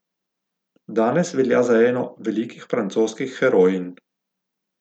Danes velja za eno velikih francoskih herojinj.